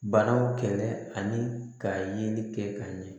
Banaw kɛlɛ ani ka ɲini kɛ ka ɲɛ